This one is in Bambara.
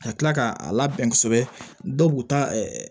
Ka kila k'a labɛn kosɛbɛ dɔw bu ta